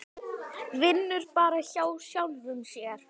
Vinnur bara hjá sjálfum sér.